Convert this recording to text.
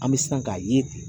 An bɛ sina k'a ye ten.